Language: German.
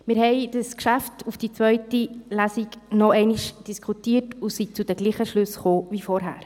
Wir haben das Geschäft auf die zweite Lesung hin noch einmal diskutiert und sind zu denselben Schlüssen gekommen wie zuvor.